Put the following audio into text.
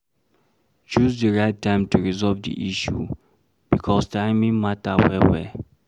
Choose di right time to resolve di issue, because timing matter well well